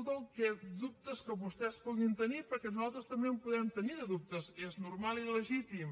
tots els dubtes que vostès puguin tenir perquè nosaltres també en podem tenir de dubtes és normal i legítim